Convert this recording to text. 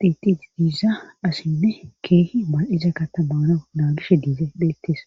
xiixi diiza asinne keehi maal7iza katamana naulishe diize beettes